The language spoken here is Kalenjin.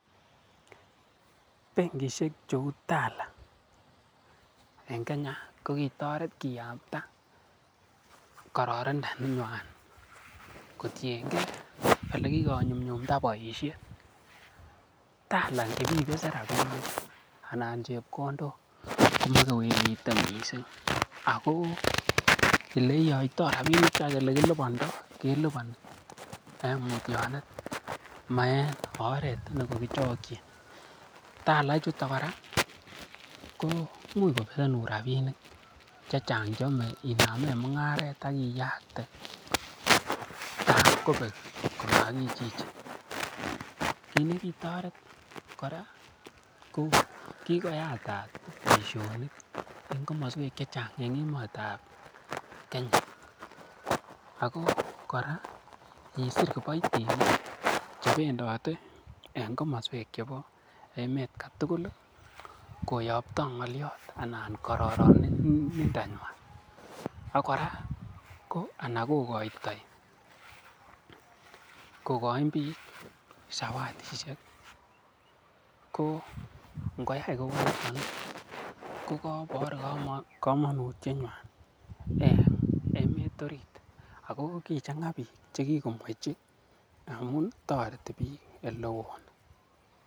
Bengishek cheu Tala en Kenya ko kitoret kiyakta kororindo nenywan kotienge ole kigonyunyumda boisiet Tala ingibibesen rabinik anan chepkondok komokewelite mising ago ele yoitoi rabinikwak ole kilibondo keliponi en mutyonet, ma en oret nekokichokin Tala ichuton kora koimuch kobesenun rabinik chechang che yome inamen mung'aret ak iyakte ta komobek komakichichin. Kit ne kitoret kora ko kigoyatat boisionik en komoswek chechang en emet ab Kenya, ago kora kisir kiboiitinik chebendote en komoswek chebo emet kotugul koyopto ng'olyot anan kororonindonywan. Ak kora anan kogoitoi kogoin biik zawadishek ko nkoyai kounon, ko koibor komonutietnywan en emet orit. Ago kichang'a biik che kigomwechi amun toreti biik ole oo.